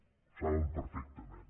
ho saben perfectament